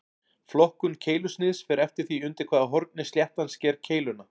Flokkun keilusniðs fer eftir því undir hvaða horni sléttan sker keiluna.